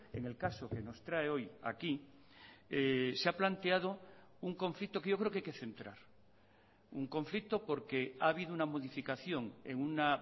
en el caso que nos trae hoy aquí se ha planteado un conflicto que yo creo que hay que centrar un conflicto porque ha habido una modificación en una